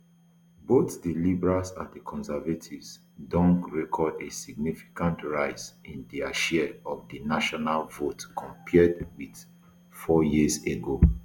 both di liberals and di conservatives don record a significant rise in dia share of di national vote compared with four years ago